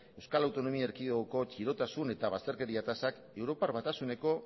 euskal autonomia erkidegoko txirotasuna eta bazterkeria tasak europar batasuneko